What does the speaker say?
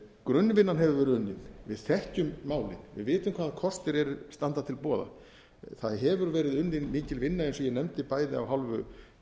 grunnvinnan hefur verið unnin við þekkjum málin við vitum hvaða kostir standa til boða það hefur verið unnin mikil vinna eins og ég nefndi bæði af hálfu